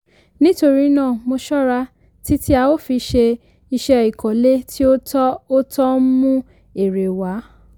nítorí náà mo ṣọ́ra títí a ó fi ṣe iṣẹ́ ìkọ́lé tí ó tọ́ ó tọ́ ń mú èrè wá